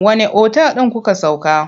Wanne otal ɗin kuka sauka?